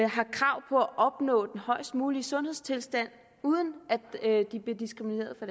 opnå den højest mulige sundhedstilstand uden at de bliver diskrimineret på